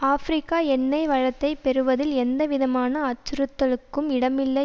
ஆப்பிரிக்க எண்ணெய் வளத்தைப் பெறுவதில் எந்தவிதமான அச்சுறுத்தலுக்கும் இடமில்லை